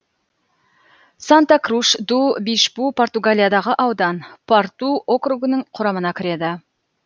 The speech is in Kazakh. санта круш ду бишпу португалиядағы аудан порту округінің құрамына кіреді